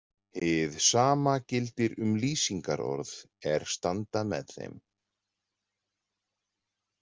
Hið sama gildir um lýsingarorð er standa með þeim.